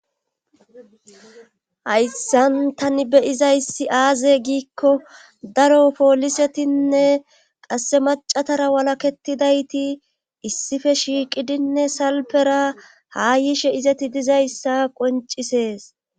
Hayssan tani beyizayssi aaze giikko daro poolisetinne qasse macatara walaketidayti issife shiiqidinne salpera haa yishe izeti dizayssa qoncisees